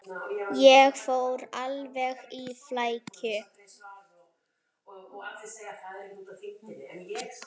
Ég fór alveg í flækju.